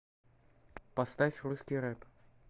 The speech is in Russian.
поставь русский рэп